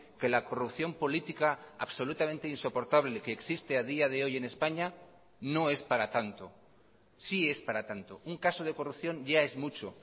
que la corrupción política absolutamente insoportable que existe a día de hoy en españa no es para tanto sí es para tanto un caso de corrupción ya es mucho